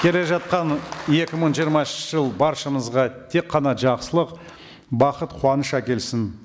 келе жатқан екі мың жиырмасыншы жыл баршамызға тек қана жақсылық бақыт қуаныш әкелсін